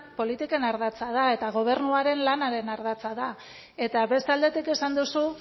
politiken ardatza da eta gobernuaren lanaren ardatza da eta beste aldetik esan duzu